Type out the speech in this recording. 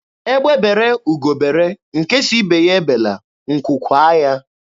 Egbe bere, ugo bere, nke sị ibe ya ebela, nkwu kwaa ya.